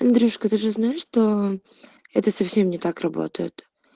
игрушка ты же знаешь что это совсем не так работает